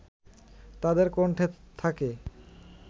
তাদের কণ্ঠে থাকে